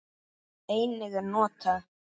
Einnig er notað